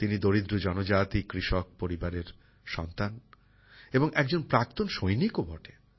তিনি দরিদ্র জনজাতি কৃষক পরিবারের সন্তান এবং একজন প্রাক্তন সৈনিকও বটে